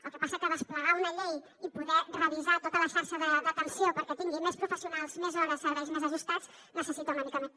el que passa que desplegar una llei i poder revisar tota la xarxa d’atenció perquè tingui més professionals més hores serveis més ajustats necessita una mica més